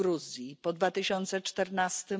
w Gruzji, po 2014